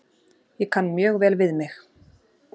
Ég kann mjög vel við mig.